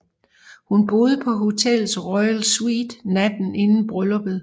Hun boede på hotellets Royal Suite natten inden brylluppet